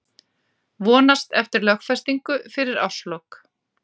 Vonast eftir lögfestingu fyrir árslok